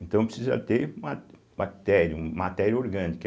Então precisa ter uma bactéria, um matéria orgânica.